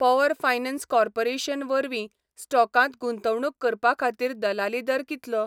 Power finance corporation वरवीं स्टॉकांत गुंतवणूक करपा खातीर दलाली दर कितलो?